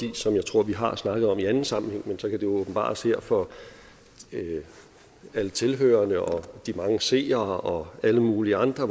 jo som jeg tror vi har snakket om i anden sammenhæng men så kan det åbenbares her for alle tilhørerne og de mange seere og alle mulige andre